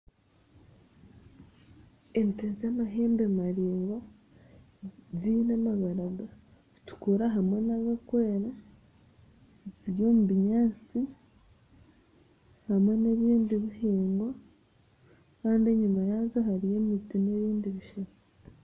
Ente z'amahembe maringwa ziine amabara gakutukura hamwe n'agokwera ziri omu binyansi hamwe n'ebindi bihingwa, kandi enyima yazo hariyo emiti n'ebindi bishaka.